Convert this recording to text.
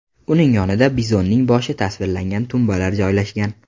Uning yonida bizonning boshi tasvirlangan tumbalar joylashgan.